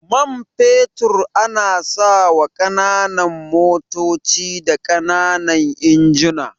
Man fetur ana sawa ƙananan motoci da ƙananan injina.